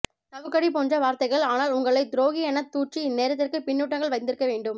சவுக்கடி போன்ற வார்த்தைகள் ஆனால் உங்களை துரோகி எனத் தூற்றி இந்நேரத்திற்கு பின்னூட்டங்கள் வந்திருக்க வேண்டுமே